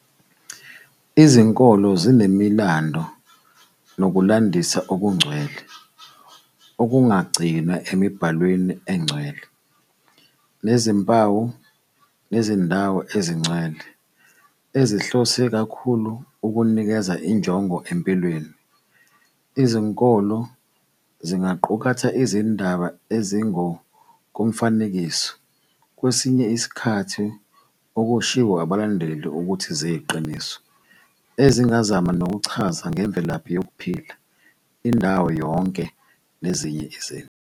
Izinkolo zinemilando nokulandisa okungcwele, okungagcinwa emibhalweni engcwele, nezimpawu nezindawo ezingcwele, ezihlose kakhulu ukunikeza injongo empilweni. Izinkolo zingaqukatha izindaba ezingokomfanekiso, kwesinye isikhathi okushiwo abalandeli ukuthi ziyiqiniso, ezingazama nokuchaza ngemvelaphi yokuphila, indawo yonke, nezinye izinto.